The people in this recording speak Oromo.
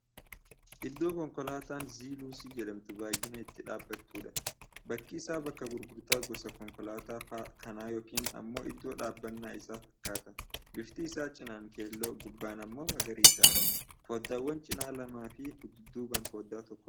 Iddoo konkoolaataan Zii-Luusii jedhamtu baay'inaan itti dhaabbattudha. Bakki isaa bakka gurgurtaa gosa konkolaataa kana yookiin ammoo iddoo dhaabbannaa isaa fakkaata. Bifti isaa cinaan keelloo, gubbaan ammoo magariisadha. foddaawwan cinaa lamaa fi dudduubaan foddaa tokko qaba.